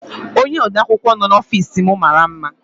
Onye odeakwụkwọ nọ n'ofiis m mara mma.